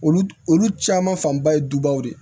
Olu olu caman fanba ye dubaw de ye